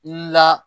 La